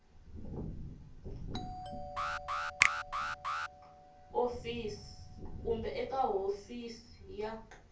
office kumbe eka hofisi ya